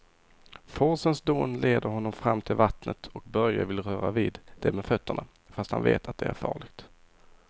Forsens dån leder honom fram till vattnet och Börje vill röra vid det med fötterna, fast han vet att det är farligt.